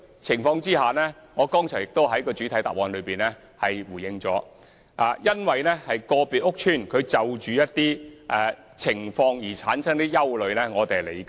正如我剛才已在主體答覆中回應，市民因個別屋邨的某些情況產生憂慮，我們能理解。